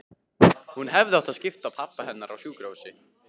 Hún hefði átt að skipa pabba hennar á sjúkrahús.